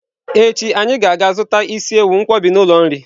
Echi anyi ga-aga zuta isi ewu nkwobj n'ulo nri.